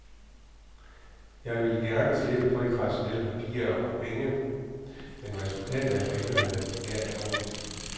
Jeg vil gerne slippe for de traditionelle papirer og penge, men resultatet er for indeværende nær kaotisk.